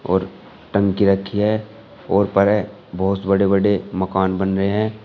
और टंकी रखी है और ऊपर है बहोत बड़े बड़े मकान बन रहे हैं।